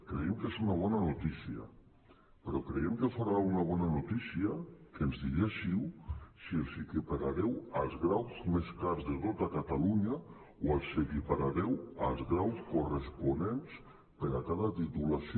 creiem que és una bona notícia però creiem que fora una bona notícia que ens diguéssiu si els equiparareu als graus més cars de tot catalunya o els equiparareu als graus corresponents per a cada titulació